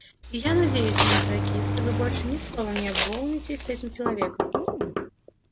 и я надеюсь мои дорогие что вы больше ни словом не обмолвитесь с этим человеком